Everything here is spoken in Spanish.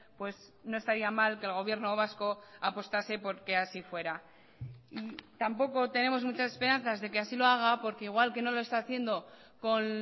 pues no estaría mal que el gobierno vasco apostase porque así fuera tampoco tenemos muchas esperanzas de que así lo haga porque igual que no lo está haciendo con